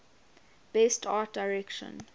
best art direction